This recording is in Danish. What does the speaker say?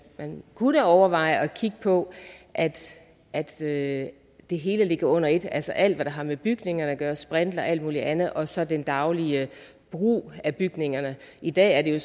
da kunne overveje at kigge på at at det det hele lå under ét altså alt hvad der har med bygninger at gøre sprinkler og alt mulig andet og så den daglige brug af bygningerne i dag er det